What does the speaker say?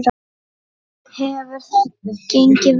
Hefur það gengið vel?